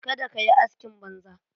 Kada ka yi askin banza.